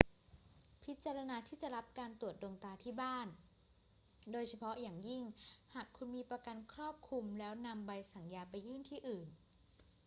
พิจารณาที่จะรับการตรวจดวงตาที่บ้าน โดยเฉพาะอย่างยิ่งหากคุณมีประกันครอบคลุม แล้วนำใบสั่งยาไปยื่นที่อื่น